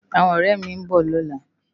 Áwòn òrè mi n bò lòlá